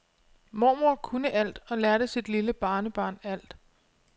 Mormor kunne alt og lærte sit lille barnebarn alt.